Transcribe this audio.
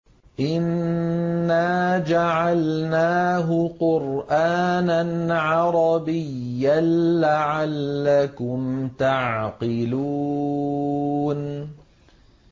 إِنَّا جَعَلْنَاهُ قُرْآنًا عَرَبِيًّا لَّعَلَّكُمْ تَعْقِلُونَ